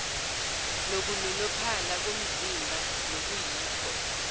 nokunonophala komzimba nokuyikho